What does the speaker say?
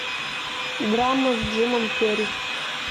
драма с джимом керри